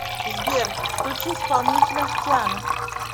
сбер включи исполнителя тиана